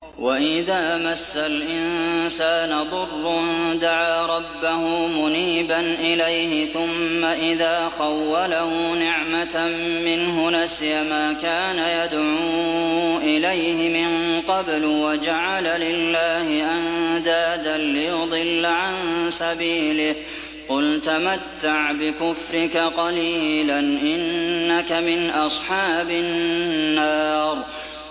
۞ وَإِذَا مَسَّ الْإِنسَانَ ضُرٌّ دَعَا رَبَّهُ مُنِيبًا إِلَيْهِ ثُمَّ إِذَا خَوَّلَهُ نِعْمَةً مِّنْهُ نَسِيَ مَا كَانَ يَدْعُو إِلَيْهِ مِن قَبْلُ وَجَعَلَ لِلَّهِ أَندَادًا لِّيُضِلَّ عَن سَبِيلِهِ ۚ قُلْ تَمَتَّعْ بِكُفْرِكَ قَلِيلًا ۖ إِنَّكَ مِنْ أَصْحَابِ النَّارِ